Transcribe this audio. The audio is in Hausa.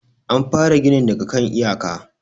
an fara ginin daga kan iyaka